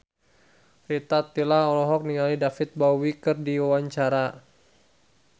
Rita Tila olohok ningali David Bowie keur diwawancara